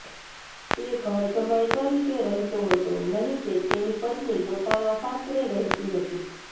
તે ઘર જમાઈ તરીકે રહેતો હતો નહી કે તેની પત્ની પોતાના સાસરે રહેતી હતી